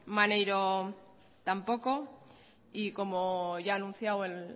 maneiro tampoco y como ya ha anunciado el